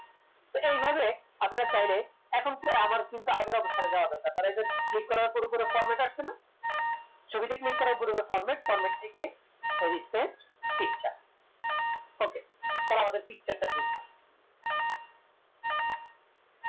তো এইভাবে আপনারা চাইলে এখন তো আমার কিন্তু আগের অবস্থা যা format